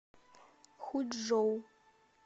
хучжоу